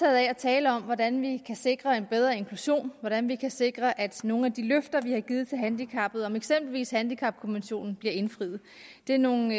af at tale om hvordan vi kan sikre en bedre inklusion og hvordan vi kan sikre at nogle af de løfter vi har givet til de handicappede om eksempelvis en handicapkommission bliver indfriet det er nogle